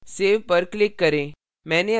save पर click करें